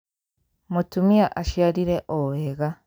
Mũtumia aciarire o wega